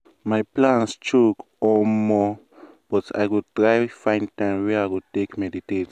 my plan choke omo!!! but i go try find time wey i go take meditate.